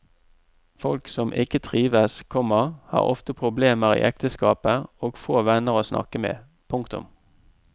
Folk som ikke trives, komma har ofte problemer i ekteskapet og få venner å snakke med. punktum